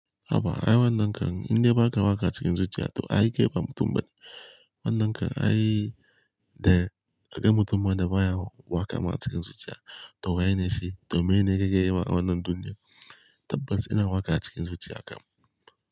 Haba ai wannan kam in dai ba ka waka cikin zuciya to ai kai ba mutum ba. Wannan kan ai dai, a ga mutum ma da wayawo waka ma a cikin zuciya. Toh waye ne shi? Toh meyene kake yi ma a wannan duniya? Tabbas ina waka cikin zuciya kam.